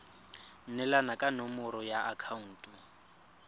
neelana ka nomoro ya akhaonto